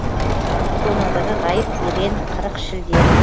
соның бірі ғайып ерен қырық шілден